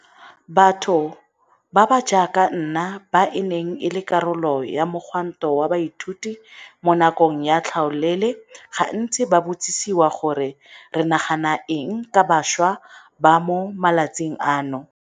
Batho ba ba jaaka nna ba e neng e le karolo ya mogwanto wa baithuti mo nakong ya tlhaolele gantsi ba botsisiwa gore re nagana eng ka bašwa ba mo matsatsing ano.